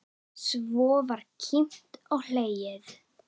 Svo var kímt og hlegið.